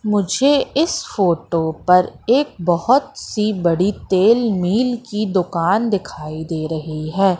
मुझे इस फोटो पर एक बोहोत सी बड़ी तेल मिल की दुकान दिखाई दे रही है।